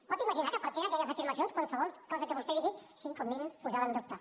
pot imaginar que a partir d’aquelles afirmacions qualsevol cosa que vostè digui sigui com a mínim posada en dubte